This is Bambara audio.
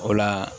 O la